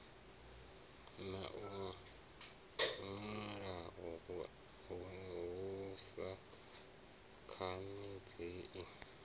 na luṅwalo hu sa khanadzei